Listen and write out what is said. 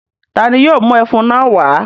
Ta ni yóò mú ẹfun náà wá?